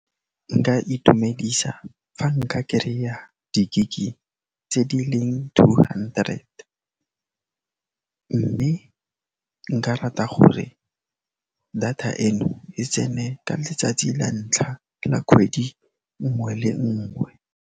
Nka itumedisa fa nka kereya di-gig-i tse di leng two hundred, mme nka rata gore data eno e tsene ka letsatsi la ntlha la kgwedi nngwe le nngwe.